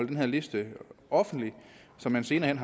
den her liste er offentlig så man senere hen